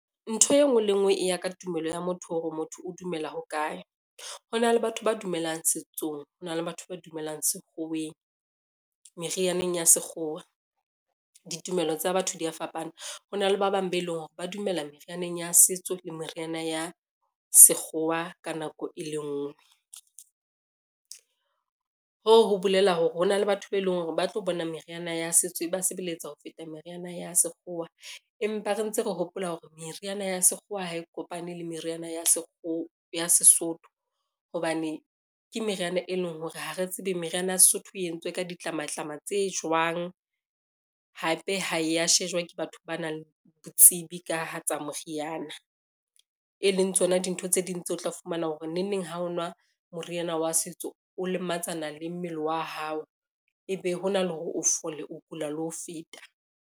Ntho e ngwe le e ngwe, e ya ka tumelo ya motho hore motho o dumela ho kae. Hona le batho ba dumelang setsong, hona le batho ba dumelang sekgoweng merianeng ya sekgowa ditumelo tsa batho di a fapana. Ho na le ba bang be leng hore ba dumela merianeng ya setso le meriana ya sekgowa ka nako e le ngwe, hoo ho bolela hore hona le batho be leng hore ba tlo bona meriana ya setso e ba sebeletsa ho feta meriana ya sekgowa, empa re ntse re hopola hore meriana ya sekgowa ha e kopane le meriana ya Sesotho, hobane ke meriana e leng hore ha re tsebe meriana ya Sesotho e entswe ka ditlamatlama tse jwang. Hape ha e ya shejwa ke batho ba nang le botsebi ka ha tsa moriana, e leng tsona dintho tse ding tseo o tla fumana hore nengneng ha o nwa moriana wa setso o lematsana le mmele wa hao, ebe hona le hore o fole o kula le ho feta.